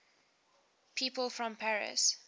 people from paris